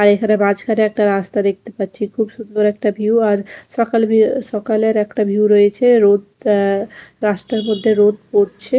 আর এখানে মাঝখানে একটা রাস্তা দেখতে পাচ্ছি খুব সুন্দর একটা ভিউ আর সকাল ভিউ সকালের একটা ভিউ রয়েছে রোদ অ্যা রাস্তার মধ্যে রোদ পড়ছে।